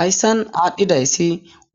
Hayssan aadhdhidayssi